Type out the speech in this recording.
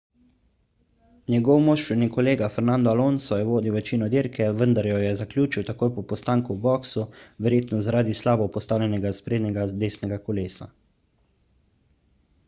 njegov moštveni kolega fernando alonso je vodil večino dirke vendar jo je zaključil takoj po postanku v boksu verjetno zaradi slabo postavljenega sprednjega desnega kolesa